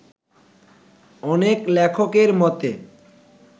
অনেক লেখকের মতে